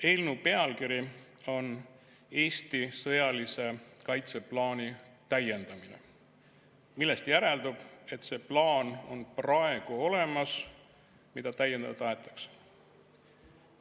Eelnõu pealkiri on "Eesti sõjalise kaitseplaani täiendamine", millest järeldub, et see plaan on praegu olemas, mida täiendada tahetakse.